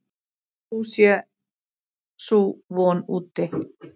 Sú sé sú von úti.